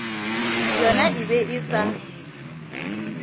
yona e be e sa